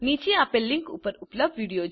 નીચે આપેલ લીંક ઉપર ઉપલબ્ધ વિડીઓ જુઓ